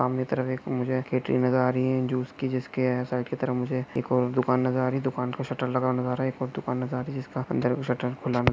सामने की तरफ मुझे एक कैटरिंग नजर आ रही है जूस की जिसके यह साइड की तरफ मुझे एक और दुकान नजर आ रही है दूकान को शटर लगी नजर आ रही है एक और दुकान नजर आ रही है। जिसका अंदर का शट्टर खुला--